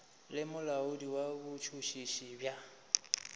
le molaodi wa botšhotšhisi bja